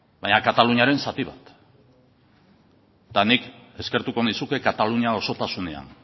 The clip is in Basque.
baina kataluniaren zati bat eta nik eskertuko nizuke katalunia osotasunean